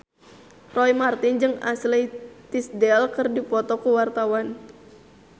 Roy Marten jeung Ashley Tisdale keur dipoto ku wartawan